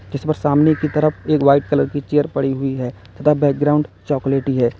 जिस पर सामने की तरफ एक वाइट कलर की चेयर पड़ी हुई है तथा बैकग्राउंड चॉकलेटी है।